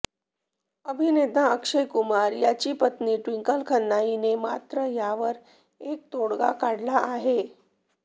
अभिनेता अक्षय कुमार याची पत्नी ट्विंकल खन्ना हिने मात्र यावर एक तोडगा काढला आहे